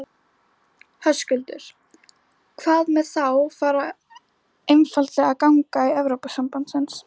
Höskuldur: Hvað með þá bara einfaldlega að ganga í Evrópusambandsins?